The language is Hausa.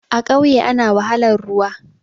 A ƙauye ana wahalar ruwa